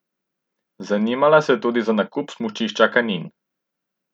Zanimala se je tudi za nakup smučišča Kanin.